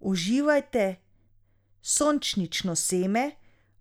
Uživajte sončnično seme,